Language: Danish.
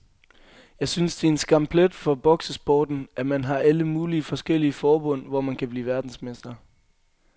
Jeg synes det er en skamplet for boksesporten, at man har alle mulige forskellige forbund, hvor man kan blive verdensmester.